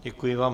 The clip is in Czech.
Děkuji vám.